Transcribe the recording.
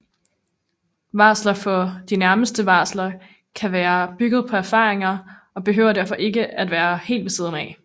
Varsler for de nærmeste varsler kan være bygget på erfaringer og behøver derfor ikke være helt ved siden af